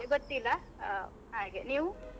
ಮತ್ತೆ ಗೊತ್ತಿಲ್ಲ ಆ ಹಾಗೆ, ನೀವು?